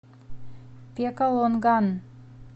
пекалонган